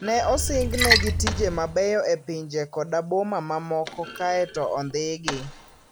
Ne osingnegi tije mabeyo e pinje koda boma mamoko kaeto ondhigi.